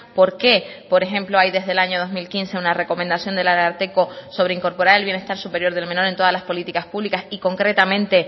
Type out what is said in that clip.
por qué por ejemplo hay desde el año dos mil quince una recomendación del ararteko sobre incorporar el bienestar superior del menor en todas las políticas públicas y concretamente